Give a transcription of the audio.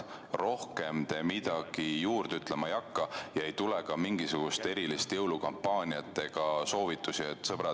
Rohkem te midagi juurde ütlema ei hakka ja ei tule ka mingisuguseid erilisi jõulukampaaniatega seotud soovitusi?